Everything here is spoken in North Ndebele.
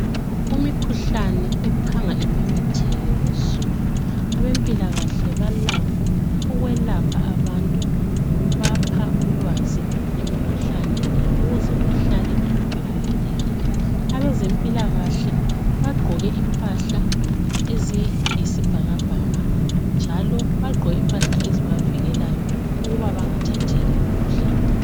Imikhuhlane ephanga imemetheke kuzulu. Abampilakahle balakho ukwelapha abantu lokubapha ulwazi ukuze bahlale bevikelekile. Abezempilakahle bagqoke impahla eziyisibhakabhaka njalo ezibavikelayo ukuba bengathatheli imikhuhlane.